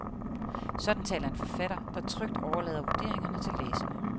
Sådan taler en forfatter, der trygt overlader vurderingerne til læserne.